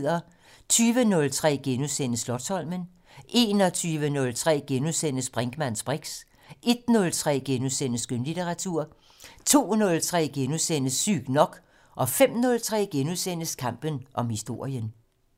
20:03: Slotsholmen * 21:03: Brinkmanns briks * 01:03: Skønlitteratur * 02:03: Sygt nok * 05:03: Kampen om historien *